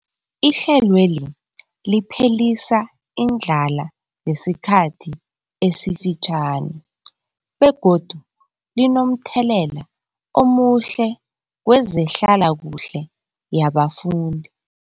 Ihlelweli liphelisa indlala yesikhathi esifitjhani begodu linomthelela omuhle kezehlalakuhle yabafundi.